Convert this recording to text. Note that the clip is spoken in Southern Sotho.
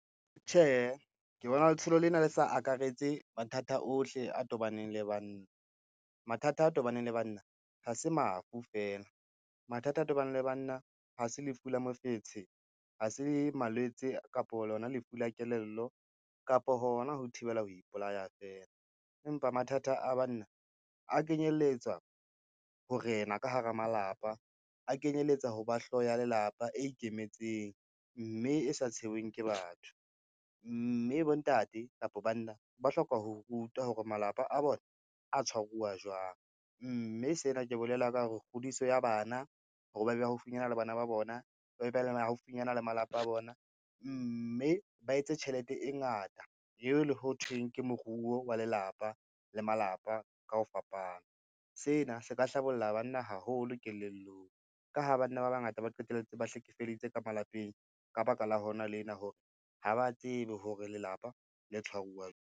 Tjhehe, ke bona letsholo lena le sa akaretse mathata ohle a tobaneng le banna. Mathata a tobaneng le banna ha se mafu fela, mathata a tobaneng le banna ha se lefu la mofetshe, ha se malwetse kapo lona lefu la kelello kapo hona ho thibela ho ipolaya fela, empa mathata a banna a kenyelletswa ho rena ka hara malapa, a kenyelletsa ho ba hloho ya lelapa e ikemetseng, mme e sa tshwerweng ke batho, mme bontate kapa banna ba hloka ho rutwa hore malapa a bona a tshwaruwa jwang, mme sena ke bolela ka hore kgodiso ya bana hore ba be haufinyana le bana ba bona, ba be ba le haufinyana le malapa a bona, mme ba etse tjhelete e ngata eo le ho thweng ke moruo wa lelapa le malapa ka ho fapana. Sena se ka hlabolla banna haholo kelellong ka ha banna ba bangata ba qetelletse ba hlekefeditse ka malapeng ka baka la hona lena, hore ha ba tsebe hore lelapa le tshwaruwa .